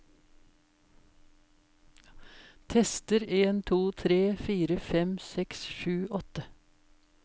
Tester en to tre fire fem seks sju åtte